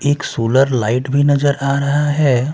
एक solar light भी नजर आ रहा हैं।